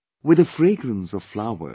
With the fragrance of flowers